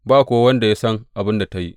Ba kuwa wanda ya san abin da ta yi.